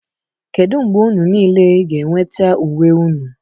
Kedu mgbe unu niile ga-enweta uwe unu?